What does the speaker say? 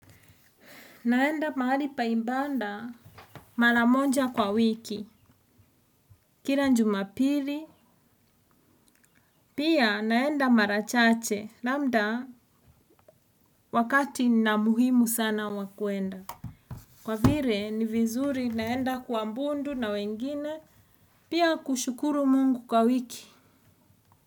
Naenda mahali paimbanda mara moja kwa wiki, kila njuma piri, pia naenda marachache, lambda wakati na muhimu sana wakuenda. Kwa vire ni vizuri naenda kua mbundu na wengine, pia kushukuru mungu kwa wiki.